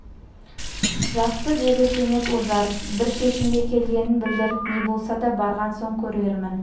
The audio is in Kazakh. жақсы деді кенет ожар бір шешімге келгенін білдіріп не болса да барған соң көрермін